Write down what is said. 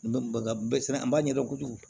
An b'a ɲɛdɔn kojugu